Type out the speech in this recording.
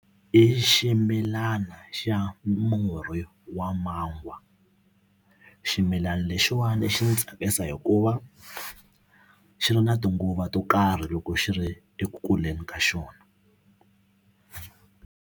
I ximilana xa murhi wa mangwa ximilana lexiwani xi ndzi tsakisa hikuva xi ri na tinguva to karhi loko xi ri eku kuleni ka xona.